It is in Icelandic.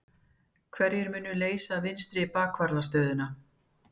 Hverjir munu leysa vinstri bakvarðarstöðuna?